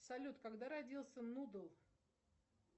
салют когда родился нудл